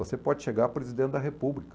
Você pode chegar a presidente da República.